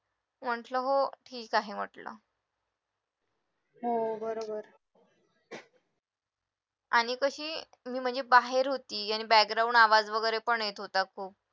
म्हंटलं हो की म्हटलं आणि कशी मी म्हणजे बाहेर होती आणि background आवाज वगैरे पण येत होता खूप